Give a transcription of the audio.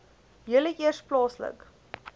julle eers plaaslik